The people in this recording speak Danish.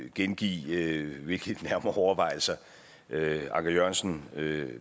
at gengive hvilke nærmere overvejelser anker jørgensen